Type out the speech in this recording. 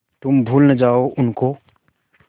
तुम भूल न जाओ उनको